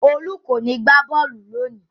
Olú kò ní gbá bọ́ọ́lù lónìí!